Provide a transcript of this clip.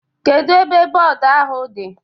Kedu ebe bọọdu ahụ di?